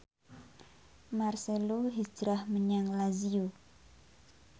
marcelo hijrah menyang Lazio